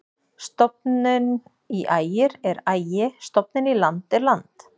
Stofninn í Ægir er Ægi-, stofninn í land er land.